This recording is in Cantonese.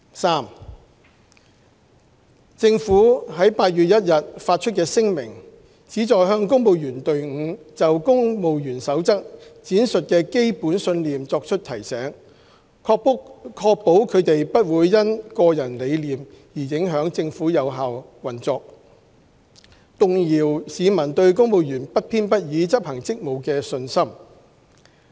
三政府在8月1日發出的聲明，旨在向公務員隊伍就《公務員守則》闡述的基本信念作出提醒，確保他們不會因個人理念而影響政府有效運作，動搖市民對公務員不偏不倚執行職務的信心。